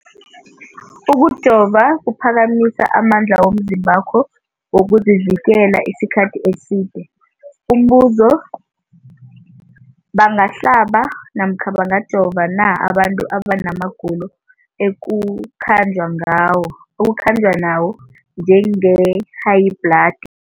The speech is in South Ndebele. Ukujova kuphakamisa amandla womzimbakho wokuzivikela isikhathi eside. Umbuzo, bangahlaba namkha bangajova na abantu abana magulo ekukhanjwa nawo, njengehayibhladi?